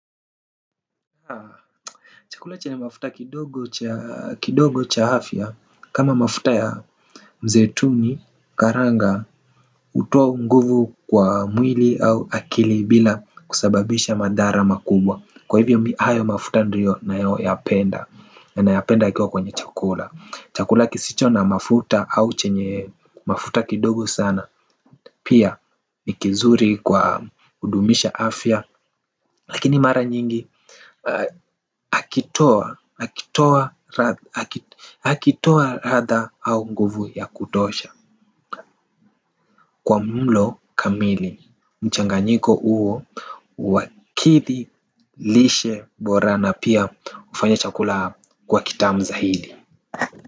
Chakula chenye mafuta kidogo cha afya. Kama mafuta ya mzaituni, karanga, utoa nguvu kwa mwili au akili bila kusababisha madhara makubwa. Kwa hivyo mi ayo mafuta ndio nayo yapenda. Na yapenda yakiwa kwenye chakula. Chakula kisicho na mafuta au chenye mafuta kidogo sana. Pia ikizuri kwa udumisha hafya. Lakini mara nyingi Akitoa Akitoa Akitoa Radha au nguvu ya kutosha. Kwa mlo kamili mchanganyiko uo uwakithi Lishe Bora na pia ufanya chakula kuwa kitamu zahidi.